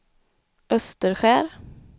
Österskär